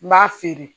N b'a feere